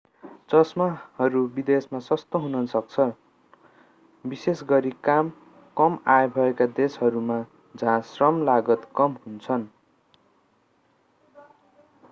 चश्माहरू विदेशमा सस्ता हुन सक्छन् विशेषगरी कम आय भएका देशहरूमा जहाँ श्रम लागत कम हुन्छन्